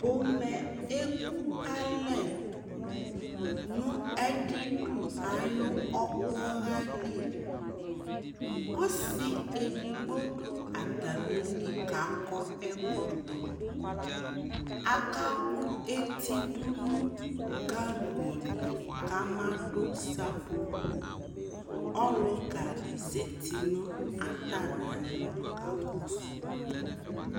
ƒomɛ eku alɛ no adidu ayi ɔkpɔha li ɔsi edigbo do atami li k'akɔ ɛkɔtɔ aka kò eti do no gaŋgo li k'ama do seƒoƒo ɔluka di zati no atami alɔ ka kɔsu ma